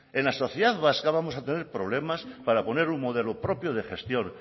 en la sociedad vasca vamos a tener problemas para poner un modelo propio de gestión